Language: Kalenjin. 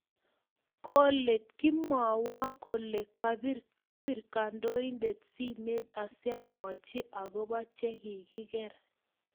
Kolet, kimwowo kole kapir kandoindet simet asiomwochi akopa chekikiker